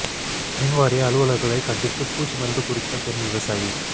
மின் வாரிய அலுவலா்களைக் கண்டித்து பூச்சி மருந்து குடித்த பெண் விவசாயி